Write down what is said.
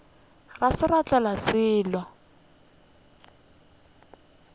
ga se ra tlela selo